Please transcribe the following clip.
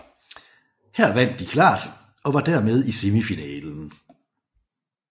Her vandt de klart og var dermed i semifinalen